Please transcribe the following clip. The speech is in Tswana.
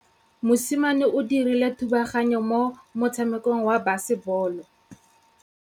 Mosimane o dirile thubaganyô mo motshamekong wa basebôlô.